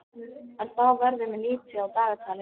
En þá verður mér litið á dagatalið.